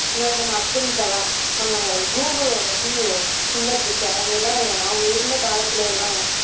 முன்னாடி நம்ம அப்துல் கலாம், நம்ம கூகுளோட CEO சுந்தர் பிச்சை அவங்க எல்லாம் இருக்காங்க. அவங்க இருந்த காலத்துல எல்லாம்